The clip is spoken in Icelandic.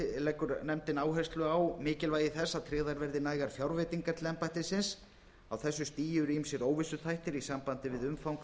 leggur nefndin áherslu á mikilvægi þess að tryggðar verði nægar fjárveitingar til embættisins á þessu stigi eru ýmsir óvissuþættir í sambandi við umfang